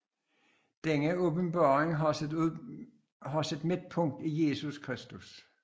Denne åbenbaring har sit midtpunkt i Jesus Kristus